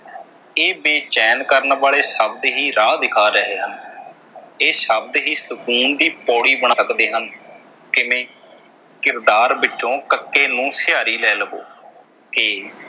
ਇਹ ਬੇਚੈਨ ਕਰਨ ਵਾਲੇ ਸ਼ਬਦ ਹੀ ਰਾਹ ਵਿਖਾ ਰਹੇ ਹਨ। ਇਹ ਸ਼ਬਦ ਹੀ ਸੁਕੂਨ ਦੀ ਪੌੜੀ ਹਨ। ਕਿਵੇਂ ਕਿਰਦਾਰ ਵਿਚੋਂ ਕ ਨੂੰ ਸਿਹਾਰੀ ਲੈ ਲਵੋ ਕਿ